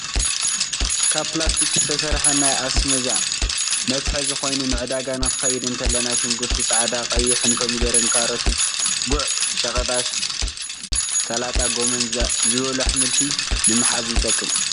ካብ ፕላስቲክ ዝተሰረሐ ናይ ኣስበዛ መትሓዚ ኮይኑ ንዕዳጋ ክንከይድ እንተለና ሽጉርቲ ፃዕዳን ቀይንሕ ፣ኮሚደረ፣ ካሮት ፣ጉዕ ፣ቆሽጣ ፣ስላጣ፣ ጎመን ዝበሉ ኣሕምልቲ ንምጥሓዝ ይጠቅም።